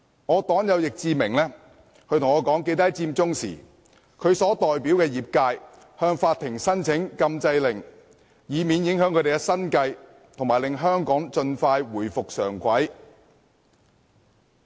我的黨友易志明議員告訴我，在佔中期間他代表的業界向法庭申請禁制令，以免影響生計及希望令香港盡快回復正軌。